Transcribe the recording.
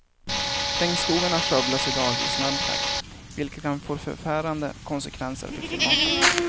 Regnskogarna skövlas i dag i snabb takt, vilket kan få förfärande konsekvenser för klimatet.